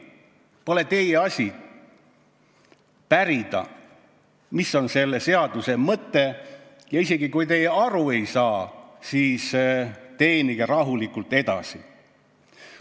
Pole teie asi pärida, mis on selle seaduseelnõu mõte, ja isegi kui te aru ei saa, siis teenige rahulikult edasi.